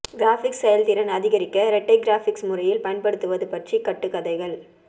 graphics செயல்திறன் அதிகரிக்க இரட்டை கிராபிக்ஸ் முறையில் பயன்படுத்துவது பற்றி கட்டுக்கதைகள்